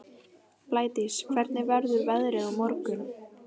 Blædís, hvernig verður veðrið á morgun?